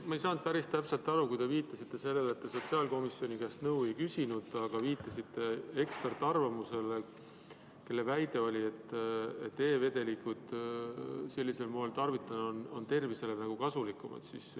Ma ei saanud päris täpselt aru, kui te viitasite sellele, et te sotsiaalkomisjoni käest nõu ei küsinud, aga viitasite eksperdi arvamusele, kelle väide oli, et e-vedelikke sellisel moel tarvitada on tervisele nagu kasulikum.